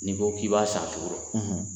N'i ko k'i b'a san juru rɔ